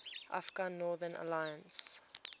afghan northern alliance